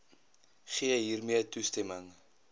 gee hiermee toestemming